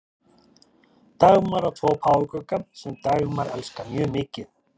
dagmar á tvo páfagauka sem dagmar elskar mjög mikið